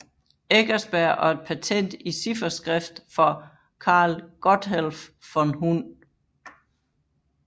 Eckersberg og et patent i cifferskrift for Karl Gotthelf von Hund